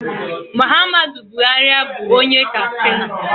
Muhammadu Buhari bụ onye Kastina